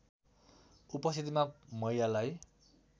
उपस्थितिमा महिलालाई